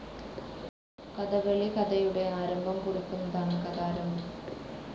കഥകളി കഥയുടെ ആരംഭംകുറിക്കുന്നതാണ് കഥാരംഭം